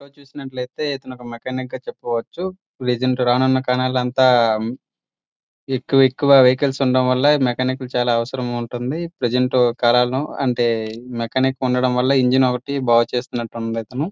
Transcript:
ఎక్కడ మనం చూసుకున్నట్లయితే ఒక మెకానిక్ అని చెప్పుకోవచ్చు. ప్రజెంట్ రానున్న కాలమంతా ఎక్కువ ఎక్కువ వెహికల్ ఉండడం వల్ల ఈ మెకానిక్ కి చాలా అవసరం ఉంటుంది. ప్రజెంట్ మెకానిక్ ఉండడం వల్ల ఇంజన్ ఒకటి బాగు చేస్తున్నట్టు ఉంది.